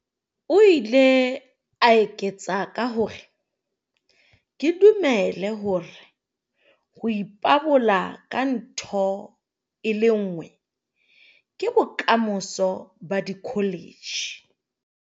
O ile a eketsa ka hore, "Ke dumela hore ho ipabola ka ntho e le nngwe ke bokamoso ba dikholetjhe."